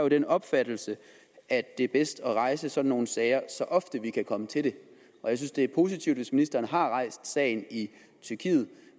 den opfattelse at det er bedst at rejse sådan nogle sager så ofte vi kan komme til det jeg synes det er positivt hvis ministeren har rejst sagen i tyrkiet